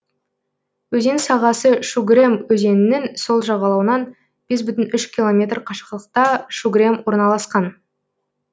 өзен сағасы шугрем өзенінің сол жағалауынан бес бүтін үш километр қашықтықта шугрем орналасқан